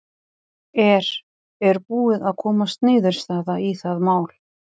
Er, er búið að komast niðurstaða í það mál?